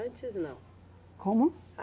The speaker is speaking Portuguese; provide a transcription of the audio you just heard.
Antes, não? Como?